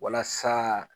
Walasa